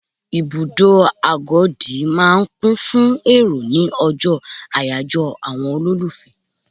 Ibùdó Agodi máa ń kún fún èrò ni ọjọ́ àyájọ́ àwọn olólùfẹ́.